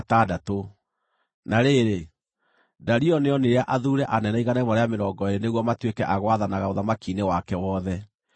Na rĩrĩ, Dario nĩonire athuure anene 120 nĩguo matuĩke a gwathanaga ũthamaki-inĩ wake wothe.